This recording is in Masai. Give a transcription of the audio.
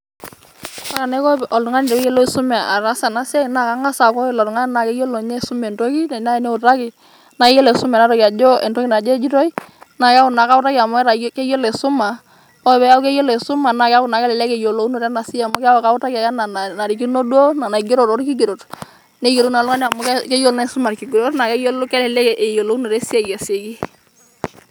Ore anaiko oltung'ani pee etumoki aisuma enaa siai naa Kang'as aaku ore ilo Tung'ani naa keyiolo enye aisuma entoki enaa eniutaki naa keyiolo aisuma entoki ajo entoki naje ejitoi, naa keeku naa kautaki amu keyiolo aisuma ore peeku keyiolo aisuma naa keeku naa kelelek eyiolounoto ena siai amu keeku kautaki ake Nanu enaa enaarikino duo naigero too kigerot neyiolou naa oltung'ani amu keyiolo naa aisuma ilkigerot naa keyie naa kelelek eyiolounoto esiai aasioki.